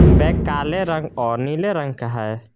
Bag काले रंग और नीले रंग का है।